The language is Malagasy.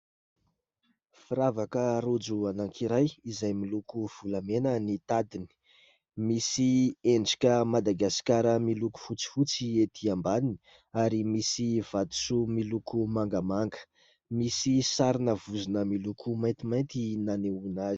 Firavaka rojo anankiray izay miloko volamena ny tadidiny, misy endrika madagasikara miloko fotsifotsy ety ambaniny, ary misy vatosoa miloko mangamanga. Misy sarina vozona miloko maintimainty nanehoana azy.